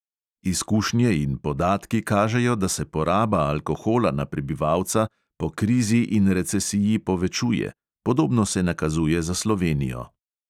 Izkušnje in podatki kažejo, da se poraba alkohola na prebivalca po krizi in recesiji povečuje, podobno se nakazuje za slovenijo.